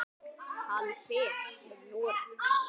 Hann fer til Noregs.